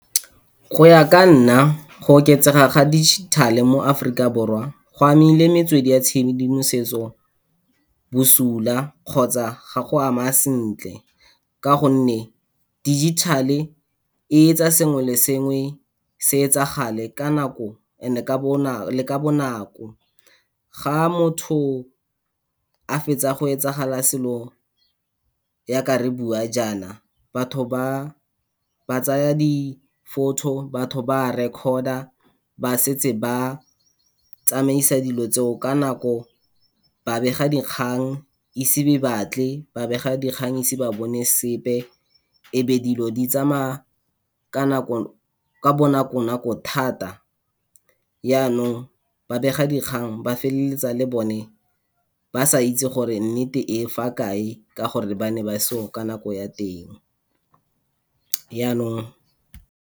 Go ya ka nna, go oketsega ga digital-e mo Afrika Borwa go amile metswedi ya tshedimosetso bosula kgotsa ga go a ama sentle, ka gonne digital-e e etsa sengwe le sengwe se etsagale ka nako and-e le ka bonako. Ga motho a fetsa go etsagala selo ya ka re bua jaana, batho ba, ba tsaya di-photo, batho ba record-a, ba setse ba tsamaisa dilo tseo ka nako, babegadikgang ise be batle, babegadikgang ise ba bone sepe, e be dilo di tsamaya, ka nako, ka bonako nako thata. Yanong, babegadikgang ba feleletsa le bone, ba sa itse gore nnete e fa kae, ka gore ba ne ba se yo ka nako ya teng. Yanong.